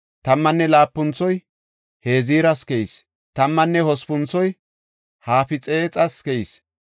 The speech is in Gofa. Tammanne laapunthoy Heziras keyis. Tammanne hospunthoy Hafixeexas keyis.